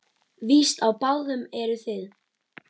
Víst á báðum eruð þið.